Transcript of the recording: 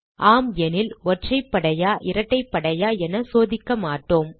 ஆம் எனில் ஒற்றைப்படையா இரட்டைப்படையா என சோதிக்க மாட்டோம்